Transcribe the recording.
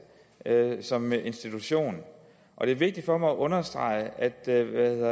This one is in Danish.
som institution og det er vigtigt for mig at understrege at der